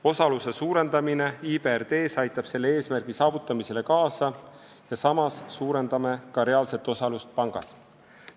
Osaluse suurendamine IBRD-s aitab selle eesmärgi saavutamisele kaasa ja samas suurendame ka reaalset osalust pangas.